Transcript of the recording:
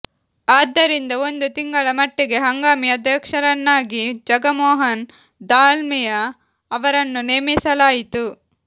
ಆದ್ದರಿಂದ ಒಂದು ತಿಂಗಳ ಮಟ್ಟಿಗೆ ಹಂಗಾಮಿ ಅಧ್ಯಕ್ಷರನ್ನಾಗಿ ಜಗಮೋಹನ್ ದಾಲ್ಮಿಯಾ ಅವರನ್ನು ನೇಮಿಸಲಾಯಿತು